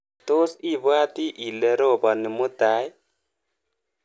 Tos ibwati ile ropani mutai?